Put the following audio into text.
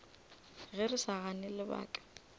ge re sa gane lebaka